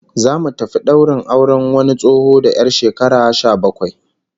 Zamu tafi daurin auren wani tsoho da 'yar shekara sha bakwai